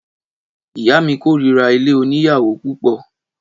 Ìyá mi kórira ilé oníyàwó púpọ̀.